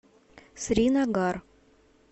сринагар